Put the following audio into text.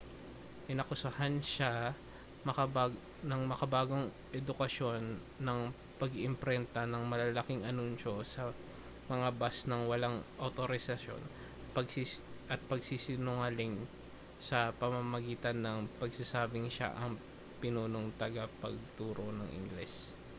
inakusahan siya ng makabagong edukasyon ng pag-iimprenta ng malalaking anunsyo sa mga bus nang walang awtorisasyon at pagsisinungaling sa pamamagitan ng pagsasabing siya ang pinunong tagapagturo ng ingles